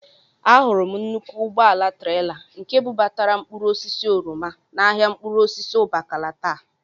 Ahụrụ m nnukwu ụgbọala trela nke bubatara mkpụrụosisi oroma n'ahịa mkpụrụosisi Ụbakala taa